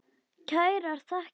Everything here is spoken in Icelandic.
Kærar þakkir